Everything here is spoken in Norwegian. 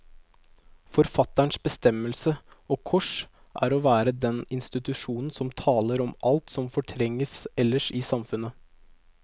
Forfatterens bestemmelse, og kors, er å være den institusjon som taler om alt som fortrenges ellers i samfunnet.